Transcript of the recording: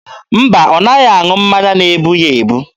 Mba, ọ naghị aṅụ mmanya na-ebu ya ebu.